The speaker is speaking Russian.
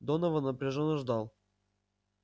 донован напряжённо ждал